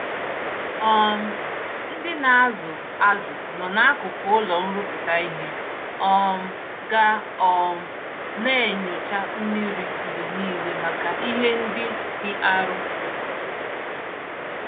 um Ndị nazụ azụ nọ n'akụkụ ụlọ nrụpụta ìhè, um ga um naenyocha mmiri mgbe nile màkà ìhè ndị dị arụ